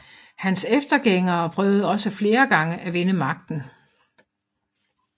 Hans eftergængere prøvede også flere gange at vinde magten